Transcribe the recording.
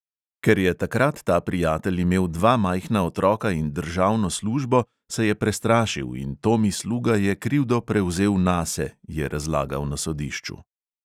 Ker je takrat ta prijatelj imel dva majhna otroka in državno službo, se je prestrašil in tomi sluga je krivdo prevzel nase, je razlagal na sodišču.